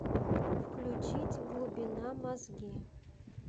включить глубина мозги